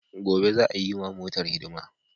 Gobe za'a yiwa motar hidima.